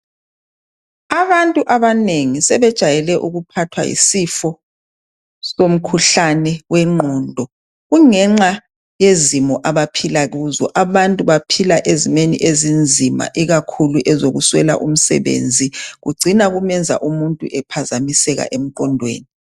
Abantu abanengi sebejayele ukuphathwa yisifo somkhuhlane wengqondo kungenxa yezimo abaphila kuzo baphila ezimeni ezinzima ikakhulu ezokuswela umsebenzi kucina kumenza umuntu ephazamiseke emqondweni.